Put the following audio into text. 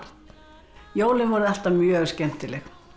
jólin voru alltaf mjög skemmtileg